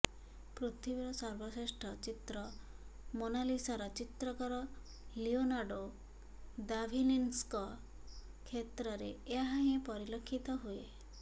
ପୃଥିବୀର ସର୍ବଶ୍ରେଷ୍ଠ ଚିତ୍ର ମୋନାଲିସାର ଚିତ୍ରକର ଲିଓନାର୍ଡୋ ଦାଭିନ୍ସିଙ୍କ କ୍ଷେତ୍ରରେ ଏହା ହିଁ ପରିଲକ୍ଷିତ ହୁଏ